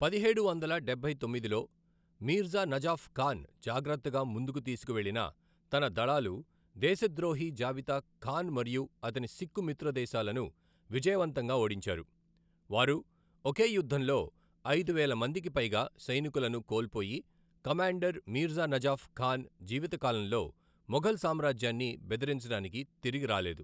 పదిహేడు వందల డబ్బై తొమ్మిదిలో, మీర్జా నజాఫ్ ఖాన్ జాగ్రత్తగా ముందుకు తీసుకువెళ్లిన తన దళాలు దేశద్రోహి జబితా ఖాన్ మరియు అతని సిక్కు మిత్రదేశాలను విజయవంతంగా ఓడించారు, వారు ఒకే యుద్ధంలో ఐదు వేల మందికి పైగా సైనికులను కోల్పోయి కమాండర్ మీర్జా నజాఫ్ ఖాన్ జీవితకాలంలో మొఘల్ సామ్రాజ్యాన్ని బెదిరించడానికి తిరిగి రాలేదు.